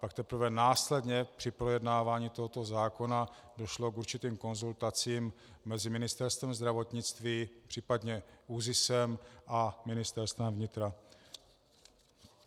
Pak teprve následně při projednávání tohoto zákona došlo k určitým konzultacím mezi Ministerstvem zdravotnictví případně ÚZISem a Ministerstvem vnitra.